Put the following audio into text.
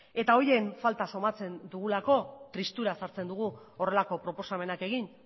eta horien falta somatzen dugulako tristura sartzen dugu horrelako proposamenak egin